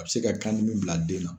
A bɛ se ka kan dimi bila den na.